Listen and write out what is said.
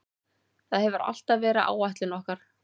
Það hefur alltaf verið áætlun okkar.